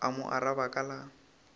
a mo araba ka la